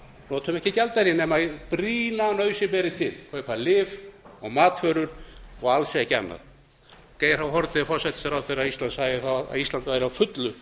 notum ekki gjaldeyri nema brýna nauðsyn beri til kaupa lyf og matvöru og alls ekki annað geir h haarde forsætisráðherra sagði þá að ísland væri á fullu